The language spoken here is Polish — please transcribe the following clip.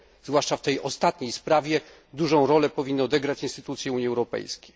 Zwłaszcza w tej ostatniej sprawie dużą rolę powinny odegrać instytucje Unii Europejskiej.